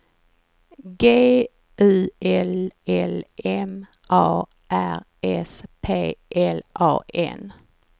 G U L L M A R S P L A N